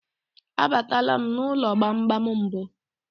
A batala m n'ụlọ gbamgbam mbụ.